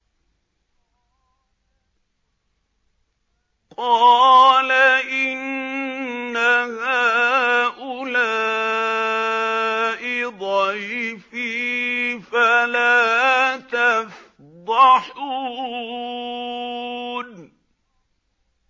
قَالَ إِنَّ هَٰؤُلَاءِ ضَيْفِي فَلَا تَفْضَحُونِ